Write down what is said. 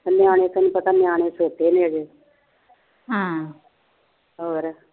ਨਿਆਣੇ ਤੈਨੂੰ ਪਤਾ ਨਿਆਣੇ ਫਿਰਦੇ ਨੇ ਹਮ ਹੋਰ